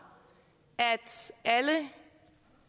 at alle